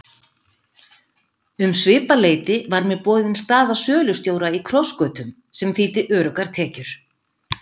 Um svipað leyti var mér boðin staða sölustjóra í Krossgötum sem þýddi öruggar tekjur.